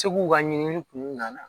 Segu ka ɲini kun na